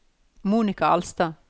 Monika Alstad